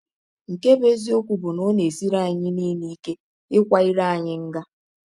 Nke bụ́ eziọkwụ bụ na ọ na - esiri anyị niile ike ịkwa ire anyị nga.